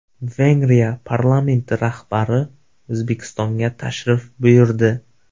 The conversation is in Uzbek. Vengriya parlamenti rahbari O‘zbekistonga tashrif buyurdi.